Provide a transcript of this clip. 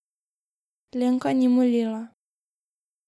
Lenka ni molila.